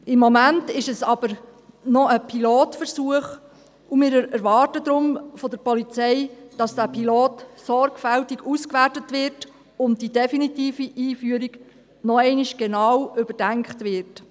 Im Moment ist es aber noch ein Pilotversuch, und wir erwarten deshalb von der Polizei, dass dieser Pilot sorgfältig ausgewertet wird und die definitive Einführung noch einmal genau überdacht wird.